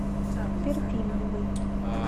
перфильевой